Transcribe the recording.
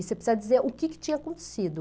E você precisa dizer o que que tinha acontecido.